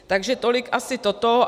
Takže tolik asi toto.